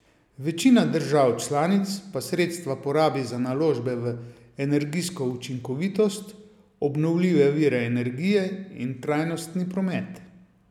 Večina držav članic pa sredstva porabi za naložbe v energijsko učinkovitost, obnovljive vire energije in trajnostni promet.